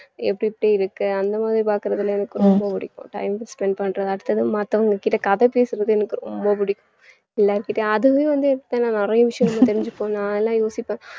எப்படி எப்படி இருக்கு அந்த மாதிரி பார்க்கிறதுல எனக்கு ரொம்ப பிடிக்கும் time க்கு spend பண்றது அடுத்தது மத்தவங்ககிட்ட கதை பேசறது எனக்கு ரொம்ப பிடிக்கும் எல்லார்கிட்டயும் அதுவே வந்து என்கிட்ட நான் நிறைய விஷயங்கள் தெரிஞ்சுப்போம் நான் எல்லாம் யோசிப்பேன்